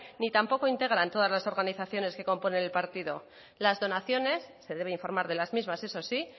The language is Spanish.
ni tampoco integran todas las organizaciones que componen el partido las donaciones se debe informar de las mismas eso sí